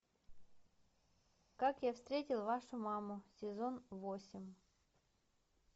как я встретил вашу маму сезон восемь